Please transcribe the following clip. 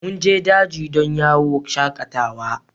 Mun je daji don yawon shakatawa.